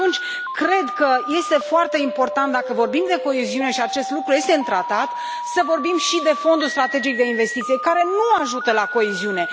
Și atunci cred că este foarte important, dacă vorbim de coeziune și acest lucru este în Tratat, să vorbim și de Fondul strategic de investiție care nu ajută la coeziune.